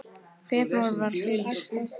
Febrúar var hlýr